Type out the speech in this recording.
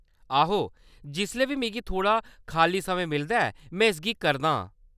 आहो, जिसलै बी मिगी थोह्‌ड़ा खाल्ली समें मिलदा ऐ, में इसगी करादा आं।